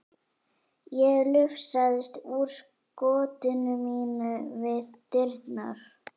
Ég lufsaðist úr skotinu mínu við dyrnar.